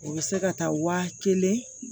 O bɛ se ka taa wa kelen